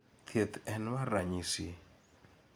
thieth en mar ranyisi